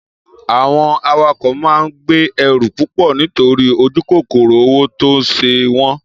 Àwon àwàkó maà ń gbẹ ẹrú púpọ nitori ojukoro owo ton se won